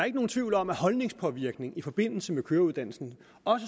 ikke nogen tvivl om at holdningspåvirkning i forbindelse med køreuddannelsen